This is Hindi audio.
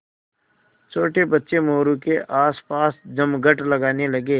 छोटे बच्चे मोरू के आसपास जमघट लगाने लगे